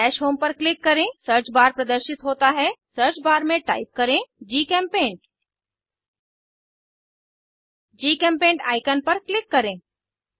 dash home पर click करें search bar प्रदर्शित होता है सर्च बार में टाइप करें जीचेम्पेंट जीचेम्पेंट आईकन पर क्लिक करें